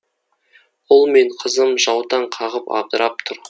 ұл мен қызым жаутаң қағып абдырап тұр